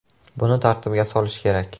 Buni tartibga solish kerak.